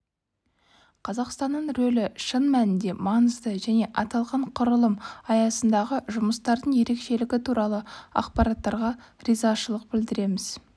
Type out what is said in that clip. қазақстанның рөлі шын мәнінде маңызды және аталған құрылым аясындағы жұмыстардың ерекшелігі туралы ақпараттарға ризашылық білдіреміз